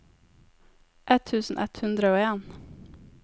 ett tusen ett hundre og en